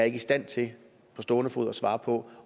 ikke i stand til på stående fod at svare på